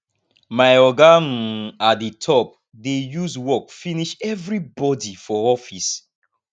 my oga um at di top dey use work finish everybodi for office